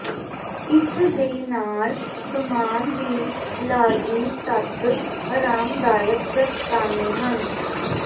ਇਸ ਦੇ ਨਾਲ ਸਾਮਾਨ ਦੀ ਲਾਜ਼ਮੀ ਤੱਤ ਆਰਾਮਦਾਇਕ ਦਸਤਾਨੇ ਹਨ